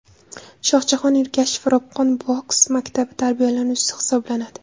Shohjahon Ergashev Ropqon boks maktabi tarbiyalanuvchisi hisoblanadi.